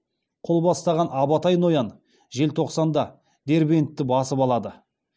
қол бастаған абатай ноян желтоқсанда дербентті басып алады